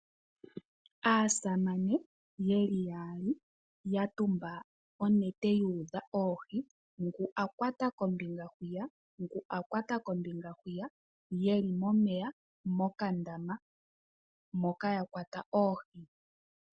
Aasamane yeli yaali ya tumba onete yu udha oohi, ngu a kwata kombinga hwiya, ngu a kwata kombinga hwiya yeli momeya mokandama moka yakwata oohi.